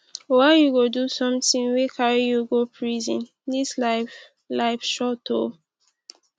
why you go do something wey carry you go prison dis life life short oo